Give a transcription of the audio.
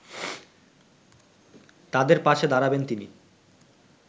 তাঁদের পাশে দাঁড়বেন তিনি